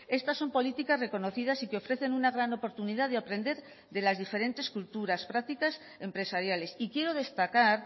estas son políticas reconocidas y que ofrecen una gran oportunidad de aprender de las diferentes culturas prácticas empresariales y quiero destacar